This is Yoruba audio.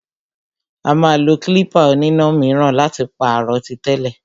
Ó máa lo klípà oníná míràn láti pàrọ̀ tí tẹ́lẹ̀.